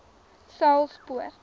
saulspoort